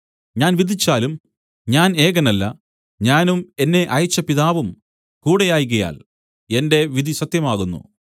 ഞാൻ വിധിച്ചാലും ഞാൻ ഏകനല്ല ഞാനും എന്നെ അയച്ച പിതാവും കൂടെയാകയാൽ എന്റെ വിധി സത്യമാകുന്നു